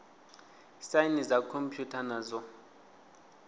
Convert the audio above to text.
saini dza khomphutha na dzo